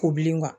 Ko bilen